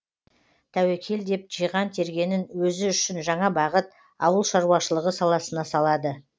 тәуекел деп жиған тергенін өзі үшін жаңа бағыт ауыл шаруашылығы саласына салады